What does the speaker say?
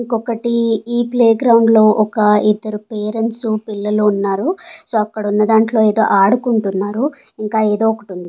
ఇంకొక్కటి ఈ playground లో ఒక ఇద్దరు పేరెంట్స్ పిల్లలు ఉన్నారు సో అక్కడ ఉన్న దాంట్లో ఎదో ఆడుకుంటున్నారు ఇంకా ఏదో ఒక్కటి ఉం--